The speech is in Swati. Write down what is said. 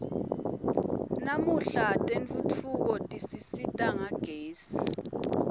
namuhla tentfutfuko tisisita ngagezi